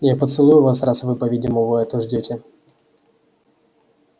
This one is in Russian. я поцелую вас раз вы по-видимому этого ждёте